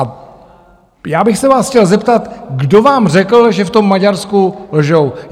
A já bych se vás chtěl zeptat, kdo vám řekl, že v tom Maďarsku lžou?